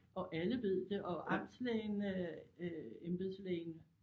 Og alle ved det og amtslægen øh øh embedslægen